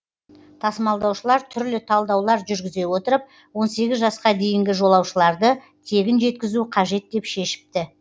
тасымалдаушылар түрлі талдаулар жүргізе отырып он сегіз жасқа дейінгі жолаушыларды тегін жеткізу қажет деп шешіпті